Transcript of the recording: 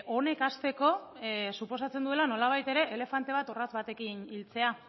honek hasteko suposatzen duela nolabait ere elefante bat orratz batekin hiltzea